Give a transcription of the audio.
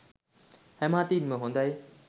හැම අතින් ම හොඳයි.